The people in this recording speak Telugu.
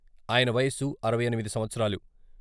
ఆయన వయస్సు అరవై ఎనిమిది సంవత్సరాలు.